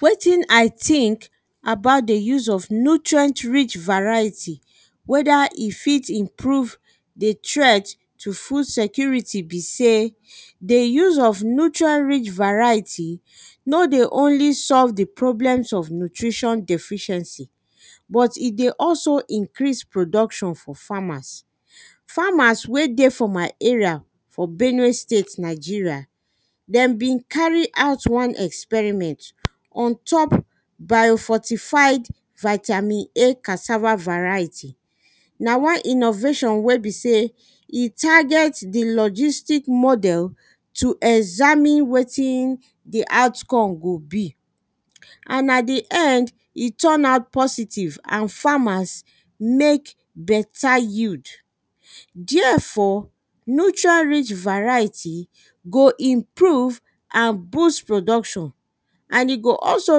wetin i think about the use of nutrient rich variety wether e fit improve the threat to food security be sey the use of neutral rich variety no dey only solve the problem of nutrition deficiency but e dey also increase production for farmers farmers wey dey for my area for benue state nigeria dem been carry out one experiment on top biofortified vitamin a cassava variety na why innovation wey be sey e target the logistic model to examine wetin the out come go be and na the end e turn out positive and farmers make beta yield therefor nutrient rich variety go improve and boost production and e go also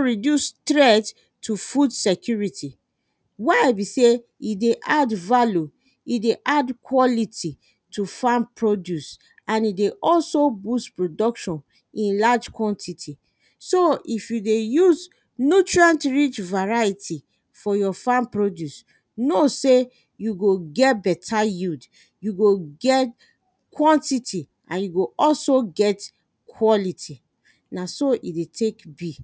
reduce threat to food security why be sey e dey add value e dey add quality to farm produced and e dey also boost production in large quantity so if you dey use nutrient rich variety for your farm produced know sey you go get beta yield you go get quantity and you go also get quality na so e dey take be